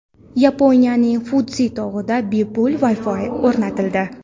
Yaponiyaning Fudzi tog‘ida bepul Wi-Fi o‘rnatildi.